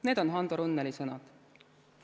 " Need on Hando Runneli sõnad.